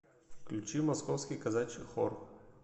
включи московский казачий хор